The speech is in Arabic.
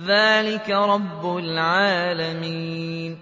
ذَٰلِكَ رَبُّ الْعَالَمِينَ